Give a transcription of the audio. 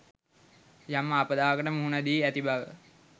යම් ආපදාවකට මුහුණ දී ඇති බව